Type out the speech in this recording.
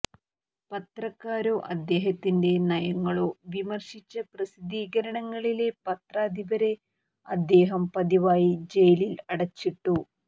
പത്രക്കാരോ അദ്ദേഹത്തിന്റെ നയങ്ങളോ വിമർശിച്ച പ്രസിദ്ധീകരണങ്ങളിലെ പത്രാധിപരെ അദ്ദേഹം പതിവായി ജയിലിൽ അടച്ചിട്ടു